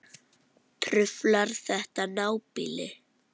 Truflar þetta nábýli?